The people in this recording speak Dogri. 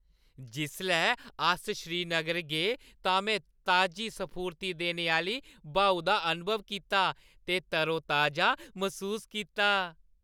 जिसलै अस श्रीनगर गे तां में ताजी स्फूर्ति देने आह्‌ली ब्हाऊ दा अनुभव कीता ते तरोताजा मसूस कीता।